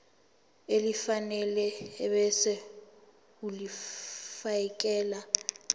elifanele ebese ulifiakela